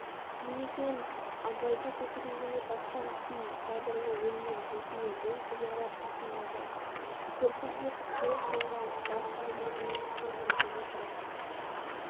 димекең абайды көкірегне басқан күй сабырлы оймен жүзіне мұң ұялап қасындағы күрпілдек креслоға бар салмағымен сылқ етіп отыра